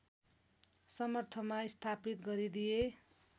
समर्थनमा स्थापित गरिदिए